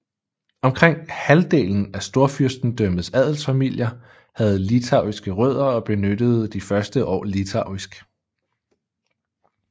Omkring halvdelen af Storfyrstendømmets adelsfamilier havde litauiske rødder og benyttede de første år litauisk